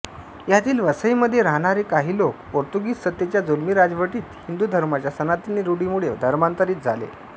ह्यातील वसईमध्ये राहणारे काही लोक पोर्तुगीज सत्तेच्या जुलमी राजवटीत हिंदु धर्माच्या सनातनी रुढीमुळे धर्मांतरित झाले